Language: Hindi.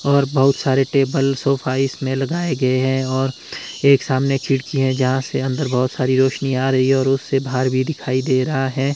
और बहुत सारे टेबल सोफा इसमें लगाए गए हैं और एक सामने खिड़की है यहां से अंदर बहुत सारी रोशनी आ रही है और उससे बाहर भी दिखाई दे रहा है।